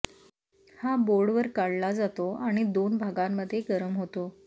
हा बोर्डवर काढला जातो आणि दोन भागांमध्ये गरम होतो